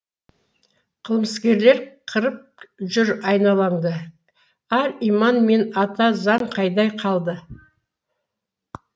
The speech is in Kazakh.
қылмыскерлер қырып жүр айналаңды ар иман мен ата заң қайда қалды